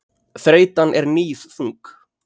Þreytan er níðþung.